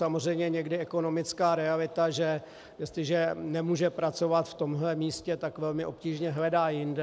Samozřejmě někdy ekonomická realita, že jestliže nemůže pracovat v tomhle místě, tak velmi obtížně hledá jinde.